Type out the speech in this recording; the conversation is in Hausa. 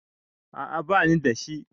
a a ba ni da shi